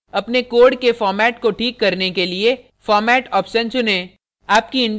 अपने code के format को ठीक करने के लिए format option चुनें